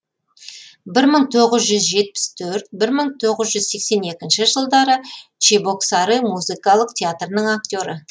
бір мың тоғыз жүз жетпіс төрт бір мың тоғыз жүз сексен екінші жылдары чебоксары музыкалық театрының актері